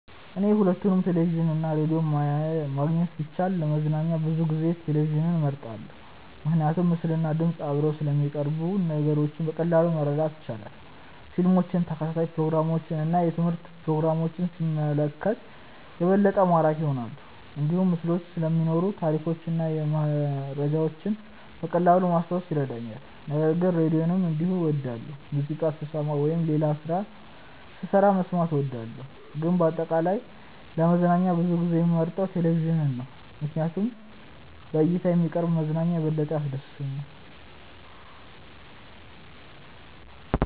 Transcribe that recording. እኔ ሁለቱንም ቴሌቪዥን እና ራዲዮ ማግኘት ቢቻልም ለመዝናኛ ብዙ ጊዜ ቴሌቪዥንን እመርጣለሁ። ምክንያቱም ምስልና ድምፅ አብረው ስለሚቀርቡ ነገሮችን በቀላሉ ማረዳት ይቻላል። ፊልሞችን፣ ተከታታይ ፕሮግራሞችን እና የትምህርት ፕሮግራሞችን ሲመለከት የበለጠ ማራኪ ይሆናል። እንዲሁም ምስሎች ስለሚኖሩ ታሪኮችን እና መረጃዎችን በቀላሉ ማስታወስ ይረዳኛል። ነገር ግን ራዲዮንም እንዲሁ እወዳለሁ፣ ሙዚቃ ስሰማ ወይም ሌላ ስራ ስሰራ መስማት እወዳለሁ። ግን በአጠቃላይ ለመዝናኛ ብዙ ጊዜ የምመርጠው ቴሌቪዥን ነው ምክንያቱም በእይታ የሚቀርብ መዝናኛ የበለጠ ያስደስተኛል።